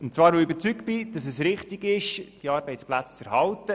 Und zwar weil ich es richtig finde, diese Arbeitsplätze zu erhalten.